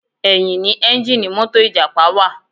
Ẹ̀yìn ni ẹ́ńjíìnnì mọ́tò ìjàpá wà.